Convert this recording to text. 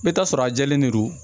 I bɛ taa sɔrɔ a jɛlen de don